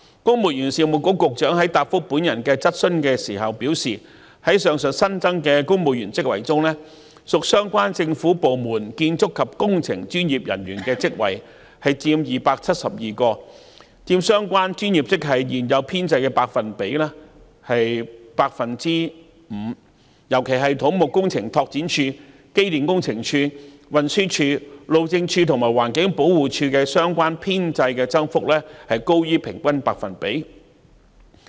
公務員事務局局長在答覆我的質詢時表示，在上述新增的公務員職系中，屬相關政府部門的建築及工程專業人員職位佔272個，佔相關專業職位現有編制的 5%， 尤其是土木工程拓展署、機電工程署、運輸署、路政署及環境保護署的相關編制增幅均高於平均百分比。